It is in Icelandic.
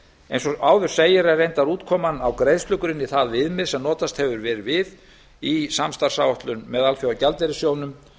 eins og áður segir er reyndar útkoman á greiðslugrunni það viðmið sem notast hefur verið við í samstarfsáætluninni með alþjóðagjaldeyrissjóðnum